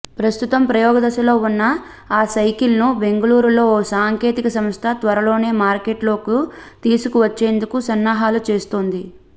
ప్రస్తుతం ప్రయోగదశలో ఉన్న ఆ సైకిల్ను బెంగళూరులో ఓ సాంకేతిక సంస్థ త్వరలోనే మార్కెట్లోకి తీసుకువచ్చేందుకు సన్నాహాలు చేస్తోంది